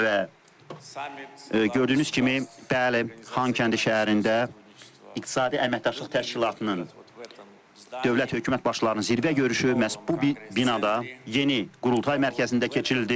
Və gördüyünüz kimi, bəli, Xankəndi şəhərində İqtisadi Əməkdaşlıq Təşkilatının dövlət hökumət başlarının zirvə görüşü məhz bu binada yeni qultay mərkəzində keçirildi.